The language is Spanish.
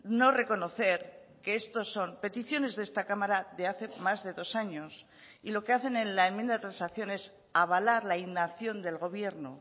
no reconocer que estos son peticiones de esta cámara de hace más de dos años y lo que hacen en la enmienda de transacción es avalar la inacción del gobierno